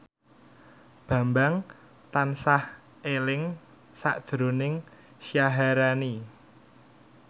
Bambang tansah eling sakjroning Syaharani